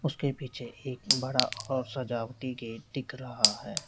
उसके पीछे एक बड़ा और सजावटी गेट दिख रहा है।